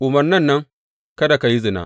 Umarnan nan, Kada ka yi zina.